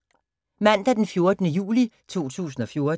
Mandag d. 14. juli 2014